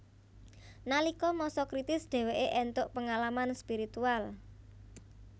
Nalika masa kritis dheweke entuk pengalaman spiritual